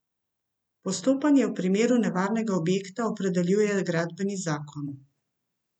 Postopanje v primeru nevarnega objekta opredeljuje gradbeni zakon.